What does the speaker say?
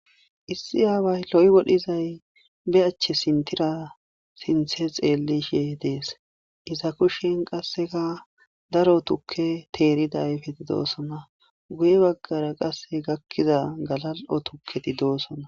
Issi aaway loy wodhizay be achche sintira sinthe xeellishe dees iza kushen qasseka daro tukke teeridayfetidoosona guye baggara qasse gakkiza galal'o tukketi doosona.